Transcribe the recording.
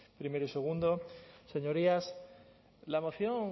primero y segundo señorías la moción